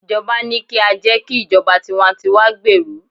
ijoba ni ki a je ki ijoba tiwantiwa gberu